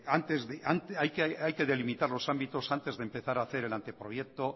hay que delimitar los ámbitos antes de empezar el anteproyecto